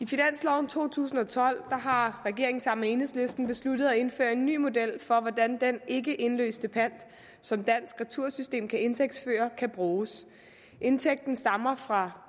finansloven to tusind og tolv har regeringen sammen med enhedslisten besluttet at indføre en ny model for hvordan den ikkeindløste pant som dansk retursystem kan indtægtsføre kan bruges indtægten stammer fra